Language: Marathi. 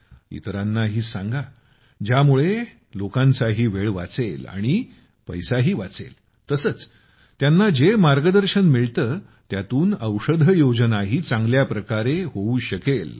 आणि इतरांनाही सांगा ज्यामुळे लोकांचाही वेळ वाचेल आणि पैसाही वाचेल तसेच त्यांना जे मार्गदर्शन मिळतं त्यातून औषधयोजनाही चांगल्या प्रकारे होऊ शकते